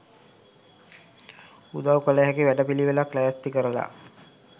උදව් කල හැකි වැඩ පිලිවෙලක් ලෑස්ති කරලා